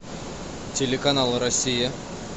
телеканал россия